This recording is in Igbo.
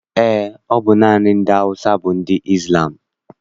Eé, ọ bụ naanị ndị Awụsa bụ ndị Izlam.